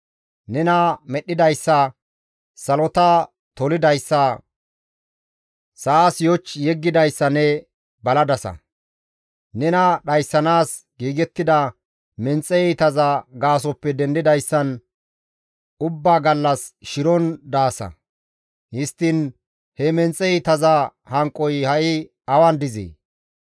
Nena medhdhidayssa, salota tolidayssa, sa7as yoch yeggidayssa ne baladasa; nena dhayssanaas giigettida menxe iitaza gaasoppe dendidayssan ubbaa gallas shiron daasa; histtiin he menxe iitaza hanqoy ha7i awan dizee?